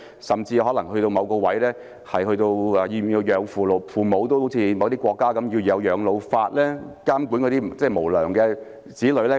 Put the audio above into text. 甚至可能到某個地步，需要好像某些國家一樣，設立養老法監管那些無良的子女呢？